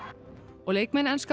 og leikmenn enska